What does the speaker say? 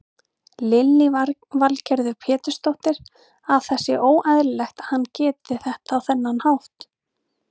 Lillý Valgerður Pétursdóttir: Að það sé óeðlilegt að hann geri þetta á þennan hátt?